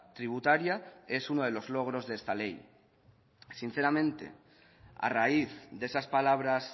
tributaria es uno de los logros de esta ley sinceramente a raíz de esas palabras